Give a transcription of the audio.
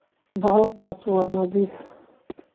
Bahalkas wa nadhiff.